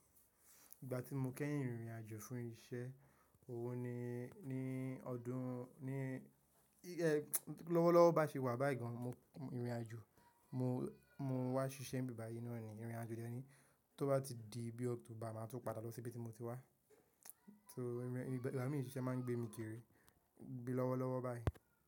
Ìgbà tí mo kẹ́yìn rìrìn àjò fún iṣẹ́, òhun ni ní ọdún ní, lọ́wọ́lọ́wọ́ bá ṣe wà báyìí gan an mo ìrìn àjò mo, mo wá ṣiṣẹ́ nbẹ̀ báyìí náà ni ìrìn àjò dèni tó bá ti di bí October máa tún padà lọ sí ibi tí mo ti wá. So---- ìṣiṣẹ́ ma ń gbé mi kiri bí lọ́wọ́lọ́wọ́ báyìí.